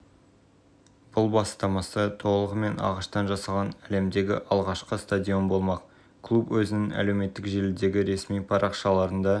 ұлыбританияның футбол клубының иесі ағаштан стадион салуды жоспарлап отыр деп хабарлайды осы ретте ағылшын футбол клубының